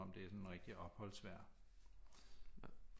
Om det er sådan rigtig opholdsvejr